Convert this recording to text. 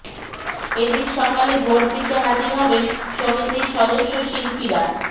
এদিন সকাল থেকে ভোট দিতে হাজির হবেন সমিতির সদস্য শিল্পীরা